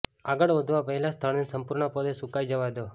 આગળ વધવા પહેલાં સ્થળને સંપૂર્ણપણે સુકાઈ જવા દો